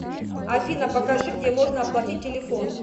афина покажи где можно оплатить телефон